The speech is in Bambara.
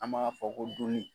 An b'a fɔ ko duli.